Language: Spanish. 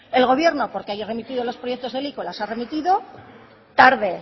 el gobierno porque haya remitido los proyectos de ley que las ha remitido tarde